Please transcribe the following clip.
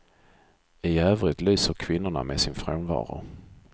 I övrigt lyser kvinnorna med sin frånvaro.